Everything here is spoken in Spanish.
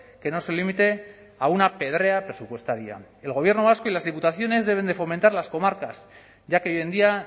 que no se limite a una pedrea presupuestaria el gobierno vasco y las diputaciones deben de fomentar las comarcas ya que hoy en día